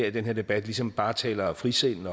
i den her debat ligesom bare taler frisind